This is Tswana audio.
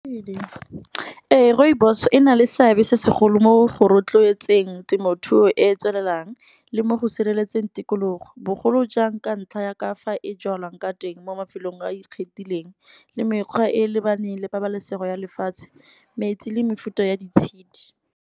Ee rooibos ena le seabe se segolo mo go rotloetseng temothuo e e tswelelang. Le mo go sireletseng tikologo bogolo jang ka ntlha ya ka fa e jalwang ka teng mo mafelong a a ikgethileng. Le mekgwa e e lebaneng le pabalesego ya lefatshe metsi le mefuta ya di tshidi.